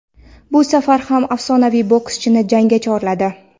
Bu safar u afsonaviy bokschini jangga chorladi;.